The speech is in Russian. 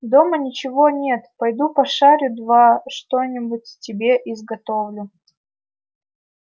дома ничего нет пойду пошарю два что-нибудь тебе изготовлю